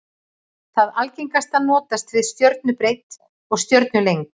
Það algengasta notast við stjörnubreidd og stjörnulengd.